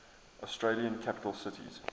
australian capital cities